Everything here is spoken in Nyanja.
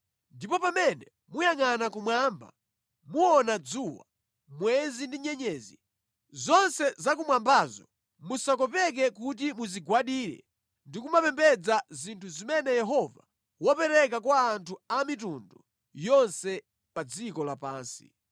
Ndipo pamene muyangʼana kumwamba muona dzuwa, mwezi ndi nyenyezi, zonse zakumwambazo musakopeke kuti muzigwadire ndi kumapembedza zinthu zimene Yehova wapereka kwa anthu a mitundu yonse pa dziko lapansi.